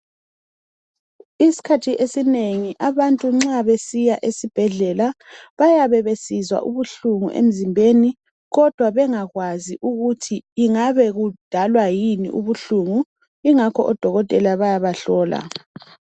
Isikhathi esinengi nxa abantu besiya esibhedlela bayabe besizwa ubuhlungu emzimbeni bengakwazi ukuthi kungabe kudalwa yini ubuhlungu ngakho odokotela bayabahlola.